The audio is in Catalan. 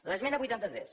l’esmena vuitanta tres